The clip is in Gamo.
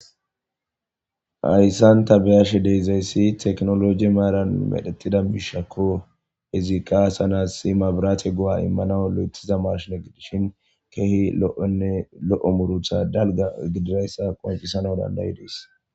Hayssan ta beashshe dizsyssi tekinoloje maran medhdhetiza mishshako izzika asa na'as mabirate po'o imanas madiza mashshin gidishshin lo'ene dalga